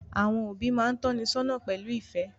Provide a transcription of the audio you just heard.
Àwọn òbí máa tónisọ́nà pẹ̀lú ìfẹ́